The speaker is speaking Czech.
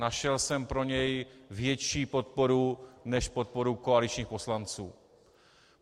Našel jsem pro něj větší podporu než podporu koaličních poslanců.